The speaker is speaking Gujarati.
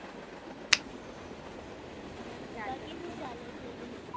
શું ચાલે છે હજુ